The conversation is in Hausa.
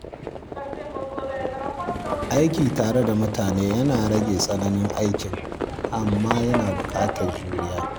Aiki tare da mutane yana rage tsananin aikin, amma yana buƙatar juriya.